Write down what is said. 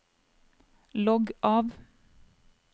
logg av